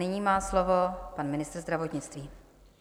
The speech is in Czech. Nyní má slovo pan ministr zdravotnictví.